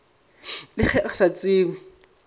le ge a sa tsebe